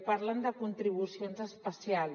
parlen de contribucions especials